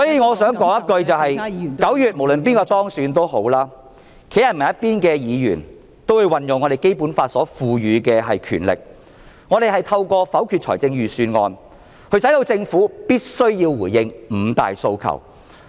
我想說的是，無論哪位在9月當選也好，站在人民一方的議員也會運用《基本法》賦予的權力，透過否決財政預算案，迫使政府必須回應"五大訴求"......